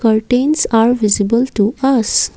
curtains are visible to us.